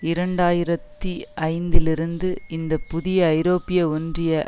இரண்டு ஆயிரத்தி ஐந்துலிருந்து இந்தப்புதிய ஐரோப்பிய ஒன்றிய